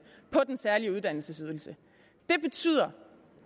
på den særlige uddannelsesydelse det betyder